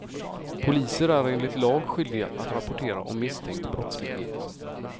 Poliser är enligt lag skyldiga att rapportera om misstänkt brottslighet.